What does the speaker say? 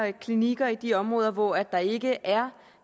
klinikker i de områder hvor der ikke er